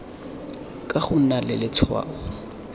ka go nna le letshwao